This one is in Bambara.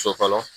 So fɔlɔ